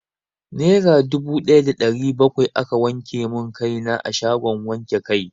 Nera dubu daya da ɗari bakwai aka wanke mun kai na a shagon wanke kai.